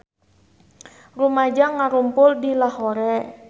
Rumaja ngarumpul di Lahore